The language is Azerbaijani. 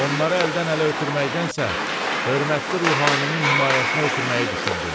Onları əldən ələ ötürməkdənsə, hörmətli ruhaninin himayəsinə ötürməyi düşündüm.